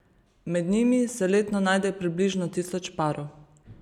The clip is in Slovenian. Med njimi se letno najde približno tisoč parov.